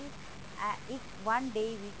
ਇੱਕ one day ਵਿੱਚ